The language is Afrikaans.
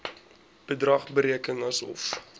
bedrag bereken asof